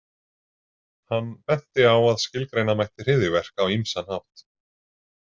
Hann benti á að skilgreina mætti hryðjuverk á ýmsan hátt.